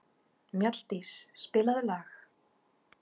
Mjalldís, spilaðu lag.